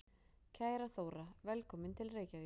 Kæra Þóra. Velkomin til Reykjavíkur.